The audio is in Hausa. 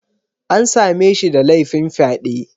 An same shi da laifin fyaɗe